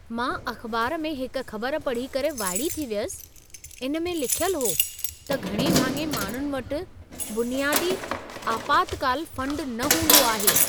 मां अख़बार में हिकु ख़बरु पढ़ी करे वाइड़ी थी वियसि। इन में लिखियल हो त घणे भाङे माण्हुनि वटि बुनियादी आपातकाल फंड न हूंदो आहे।